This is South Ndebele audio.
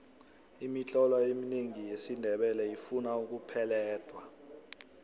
imitlolo eminengi yesindebele ifuna ukupeledwa